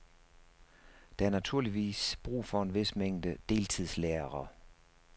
Der er naturligvis brug for en vis mængde deltidslærere.